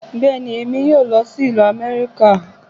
Bẹ́ẹ̀ni, èmi yóò lọ sí ìlú Amẹ́ríkà